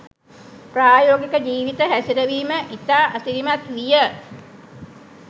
ප්‍රායෝගික ජීවිත හැසිරවීම ඉතා අසිරිමත් විය